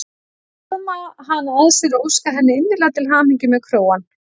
Faðma hana að sér og óska henni innilega til hamingju með krógann.